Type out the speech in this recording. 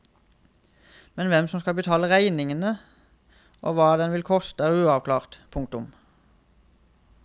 Men hvem som skal betale regningen og hva den vil koste er uavklart. punktum